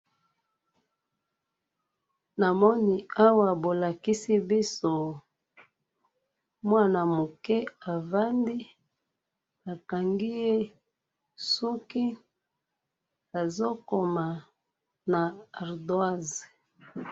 namoni awa bo lakisi biso, mwana mokie avandi, ba kangi ye suki, azo koma na ardoise